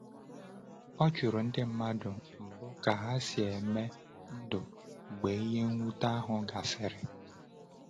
O jụrụ ndị mmadụ mbụ ka ha si eme ndụ mgbe ihe mwute ahụ gasịrị.